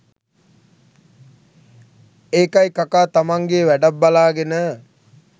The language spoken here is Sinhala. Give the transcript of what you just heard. ඒකයි කකා තමන්ගේ වැඩක් බලාගෙන